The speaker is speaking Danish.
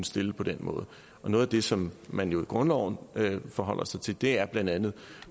stillet på den måde noget af det som man jo i grundloven forholder sig til er blandt andet